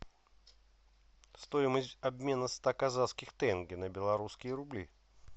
стоимость обмена ста казахских тенге на белорусские рубли